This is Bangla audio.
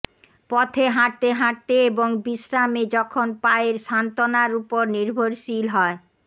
পথে হাঁটতে হাঁটতে এবং বিশ্রামে যখন পায়ের সান্ত্বনার উপর নির্ভরশীল হয়